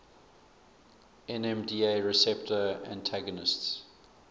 nmda receptor antagonists